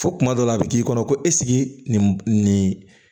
Fo kuma dɔ la a bɛ k'i kɔnɔ ko esike nin